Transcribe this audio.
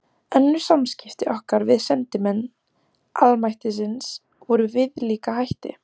Önnur samskipti okkar við sendimenn almættisins voru með viðlíka hætti.